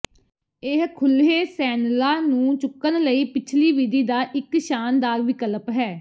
ਇਹ ਖੁੱਲ੍ਹੇ ਸੈਨਲਾਂ ਨੂੰ ਚੁੱਕਣ ਲਈ ਪਿਛਲੀ ਵਿਧੀ ਦਾ ਇੱਕ ਸ਼ਾਨਦਾਰ ਵਿਕਲਪ ਹੈ